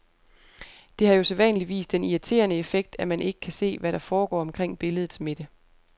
Det har jo sædvanligvis den irriterende effekt, at man ikke kan se hvad der foregår omkring billedets midte.